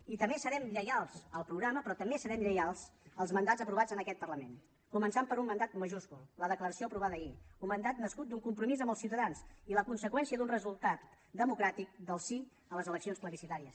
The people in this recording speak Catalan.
i també serem lleials al programa però també serem lleials als mandats aprovats en aquest parlament començant per un mandat majúscul la declaració aprovada ahir un mandat nascut d’un compromís amb els ciutadans i la conseqüència d’un resultat democràtic del sí a les eleccions plebiscitàries